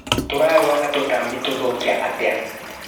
Tũrarũa na tũtambi tũthũkia atia.